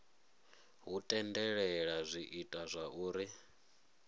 hu tendelela zwi ita zwauri